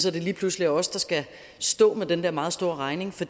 at det lige pludselig er os der skal stå med den der meget store regning for